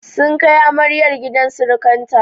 Sun kai amaryar gidan sirikanta.